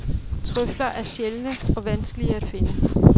Trøfler er sjældne og vanskelige at finde.